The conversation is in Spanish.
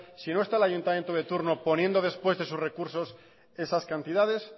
si no está el ayuntamiento de turno poniendo después de sus recursos esas cantidades